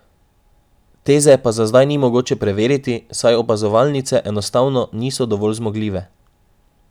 Teze pa za zdaj ni mogoče preveriti, saj opazovalnice enostavno niso dovolj zmogljive.